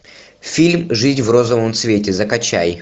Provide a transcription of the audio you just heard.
фильм жить в розовом цвете закачай